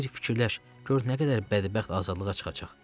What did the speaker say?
Bir fikirləş, gör nə qədər bədbəxt azadlığa çıxacaq.